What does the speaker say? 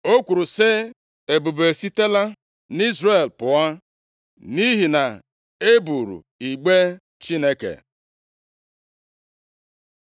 O kwuru sị, “Ebube esitela nʼIzrel pụọ, nʼihi na e buuru igbe Chineke.”